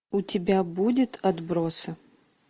у тебя будет отбросы